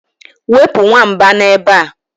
wepụ nwamba a n'ebe a